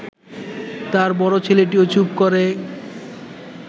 তাঁর বড় ছেলেটিও চুপ করে